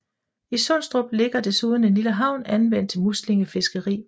I Sundstrup ligger desuden en lille havn anvendt til muslingefiskeri